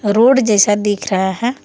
Road जैसा दिख रहा है।